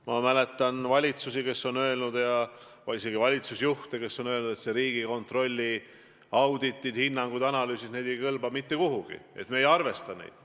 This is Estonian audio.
Ma mäletan valitsusi ja isegi valitsusjuhte, kes on öelnud, et Riigikontrolli auditid, hinnangud ja analüüsid ei kõlba mitte kuhugi, me ei arvesta neid.